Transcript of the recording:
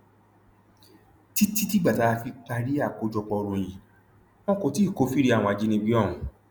títí di ìgbà tá a fi parí àkójọpọ ìròyìn yìí wọn kò tí ì kófìrí àwọn ajínigbé ọhún